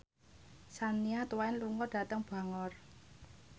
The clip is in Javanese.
Shania Twain lunga dhateng Bangor